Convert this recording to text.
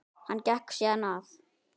Hann gekk síðan að